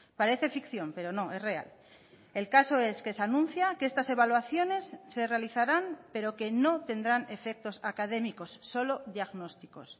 parece ficción pero no es real el caso es que se anuncia que estas evaluaciones se realizarán pero que no tendrán efectos académicos solo diagnósticos